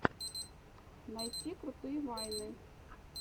найти крутые вайны